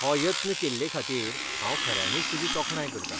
हो यत्न केल्लेखातीर हांव खऱ्यांनीच तुजी तोखणाय करतां.